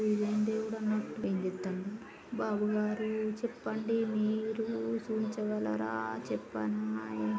ఇదేం దేవుడన్నట్టు ఏంజేతం బాబు గారు చెప్పండి మీరు చూయించగలరా చెప్పన్నా --